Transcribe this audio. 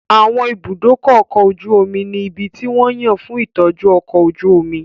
Àwọn ibùdó ọkọ̀ ojú omi ní ibi tí wón yàn fún ìtọ́jú ọkọ̀ ojú omi